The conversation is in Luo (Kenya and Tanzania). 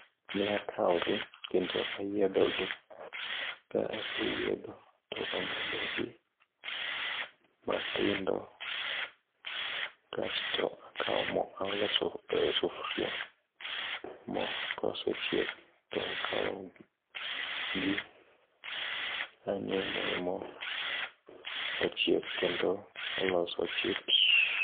Ne akaogi kendo ayiedho gi ka aseyiedho to ang'ado gi matindo, kasto akao mo aolo e sufuria. Mo kosechiek to akaogi anyumo e mo tochiek kendo oloso chips.